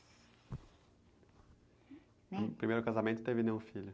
No primeiro casamento não teve nenhum filho?